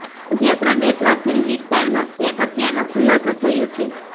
મધ્ય પ્રદેશમાં ફિલ્મી સ્ટાઇલમાં એક હત્યાનો ખુલાસો થયો છે